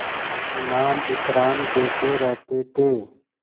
इनाम इकराम देते रहते थे